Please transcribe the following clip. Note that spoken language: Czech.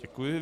Děkuji.